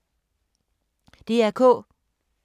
DR K